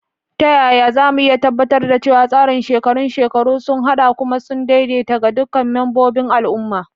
Ta yaya za mu iya tabbatar da cewa tsarin shekarun shekaru sun haɗa kuma sun daidaita ga duk membobin al'umma?